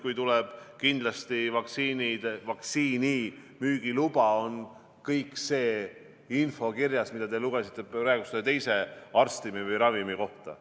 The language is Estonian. Kui tuleb vaktsiini müügiluba, on kogu see info kirjas, mida te praegu lugesite selle teise ravimi kohta.